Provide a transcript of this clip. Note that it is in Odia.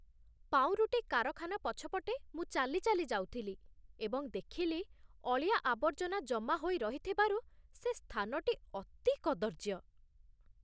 ପାଉଁରୁଟି କାରଖାନା ପଛପଟେ ମୁଁ ଚାଲି ଚାଲି ଯାଉଥିଲି ଏବଂ ଦେଖିଲି ଅଳିଆ ଆବର୍ଜନା ଜମା ହୋଇ ରହିଥିବାରୁ ସେ ସ୍ଥାନଟି ଅତି କଦର୍ଯ୍ୟ ।